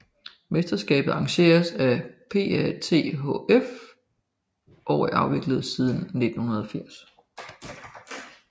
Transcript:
Mesterskabet arrangeres af PATHF og er afviklet siden 1980